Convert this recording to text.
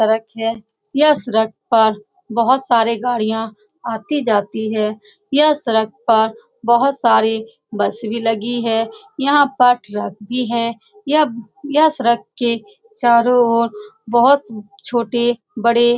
सरक है। यह सरक पर बोहोत सारे गाड़िया आती-जाती है यह सरक पर बोहोत सारे बस भी लगी है यहाँ पर ट्रक भी है। यह-यह सरक के चारो और बोहोत छोटे बड़े --